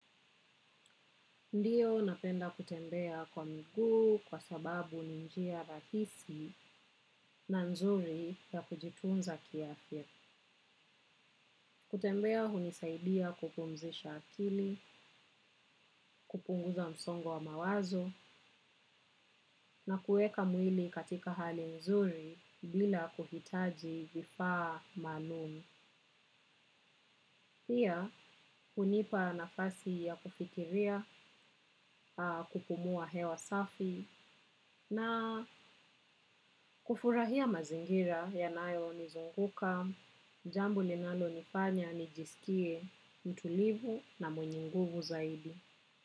Ndiyo napenda kutembea kwa miguu kwa sababu ni njia rahisi na nzuri ya kujitunza kiafya. Kutembea hunisaidia kupumzisha akili, kupunguza msongo wa mawazo na kuweka mwili katika hali nzuri bila kuhitaji kifaa maalum. Pia hunipa nafasi ya kufikiria kupumua hewa safi na kufurahia mazingira yanayo nizunguka, jambo ninalo nifanya nijisikie mtulivu na mwenye guvu zaidi.